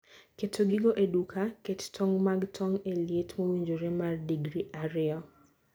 keto gigo e duka. Ket tong' mag tong' e liet mowinjore mar digri ariyo.